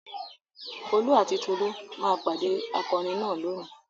Folú àti Tolú máa pàdé akọrin náà lónìí.